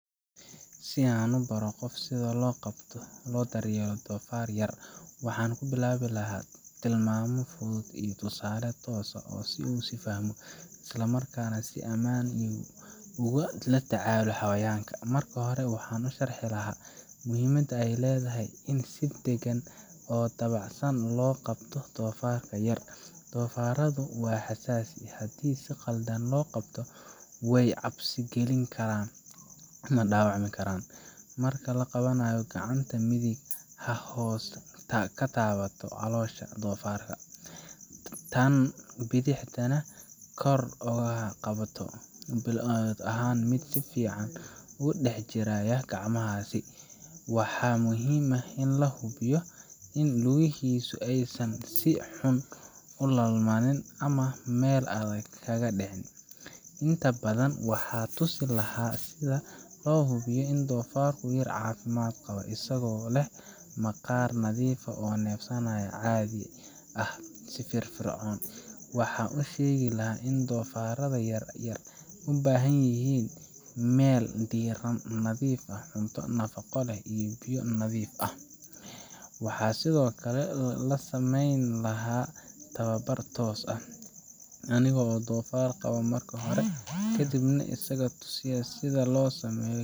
Si aan qof u baro sida loo qabto oo loo daryeelo doofaar yar, waxaan ku bilaabi lahaa tilmaamo fudud iyo tusaale toos ah si uu u fahmo, isla markaana si ammaan ah ugula tacaalo xayawaanka. Marka hore, waxaan u sharxi lahaa muhiimadda ay leedahay in si deggan oo dabacsan loo qabto doofaarka yar. Doofaarradu waa xasaasi, haddii si qaldan loo qabto way cabsi geli karaan ama dhaawacmi karaan. Marka la qabanayo, gacanta midig ha hoos ka taabato caloosha doofaarka, tan bidixna kor ha uga qabato u ahaado mid si fiican ugu dhex jiraya gacmahaaga. Waxaa muhiim ah in la hubiyo in lugihiisu aysan si xun u laalmanin ama meel adag kaga dhicin. Intaa ka dib, waxaan tusin lahaa sida loo hubsado in doofaarka yar caafimaad qabo – isagoo leh maqaarka nadiif ah, neefsashada caadi ah, iyo firfircoon. Waxaan u sheegi lahaa in doofaarrada yar yar u baahan yihiin meel diirran, nadiif ah, cunto nafaqo leh, iyo biyo nadiif ah. Waxaan sidoo kale la samayn lahaa tababar toos ah aniga oo doofaarka qabo marka hore, ka dibna isaga tusaya sida loo sameeyo,